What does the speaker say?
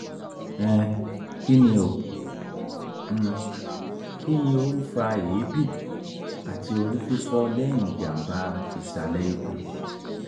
um kini o um kini o fa eebi ati orififo lẹhin jamba isale ikun?